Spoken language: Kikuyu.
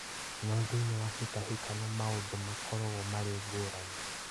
No thĩinĩ wa hĩtahĩtano ĩngĩ maũndũ magakorwo marĩ ngũrani